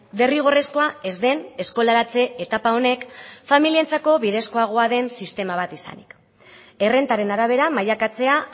derrigorrezkoa ez den eskolaratze etapa honek familientzako bidezkoagoa den sistema bat izanik errentaren arabera mailakatzea